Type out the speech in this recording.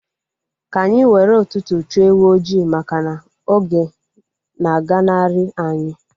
Ka anyị were ụtụtụ chụọ ewu ojii maka na oge na aganari anyi